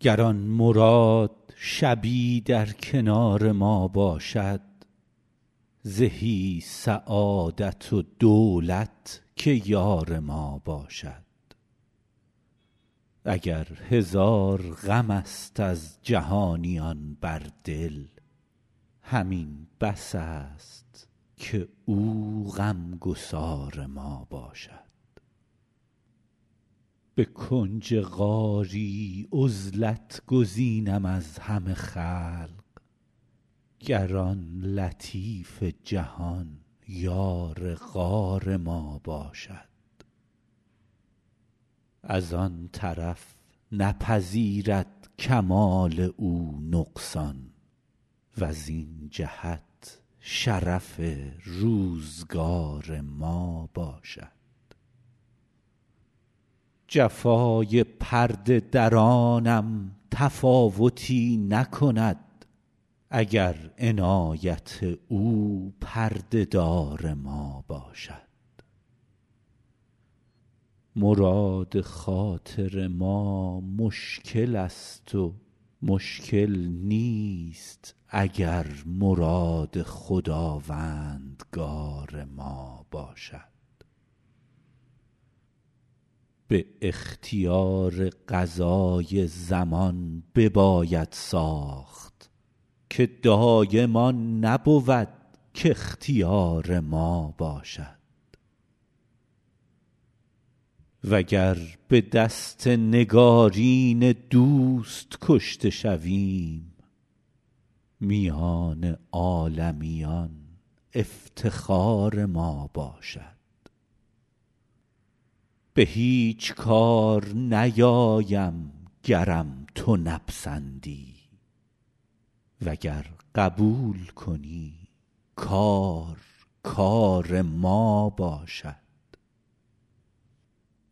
گر آن مراد شبی در کنار ما باشد زهی سعادت و دولت که یار ما باشد اگر هزار غم است از جهانیان بر دل همین بس است که او غم گسار ما باشد به کنج غاری عزلت گزینم از همه خلق گر آن لطیف جهان یار غار ما باشد از آن طرف نپذیرد کمال او نقصان وزین جهت شرف روزگار ما باشد جفای پرده درانم تفاوتی نکند اگر عنایت او پرده دار ما باشد مراد خاطر ما مشکل است و مشکل نیست اگر مراد خداوندگار ما باشد به اختیار قضای زمان بباید ساخت که دایم آن نبود کاختیار ما باشد وگر به دست نگارین دوست کشته شویم میان عالمیان افتخار ما باشد به هیچ کار نیایم گرم تو نپسندی وگر قبول کنی کار کار ما باشد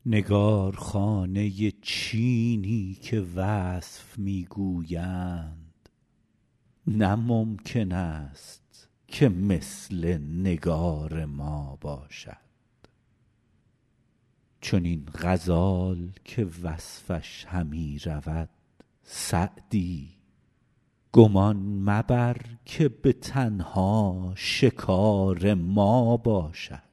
نگارخانه چینی که وصف می گویند نه ممکن است که مثل نگار ما باشد چنین غزال که وصفش همی رود سعدی گمان مبر که به تنها شکار ما باشد